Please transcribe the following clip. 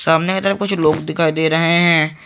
सामने की तरफ कुछ लोग दिखाई दे रहे हैं।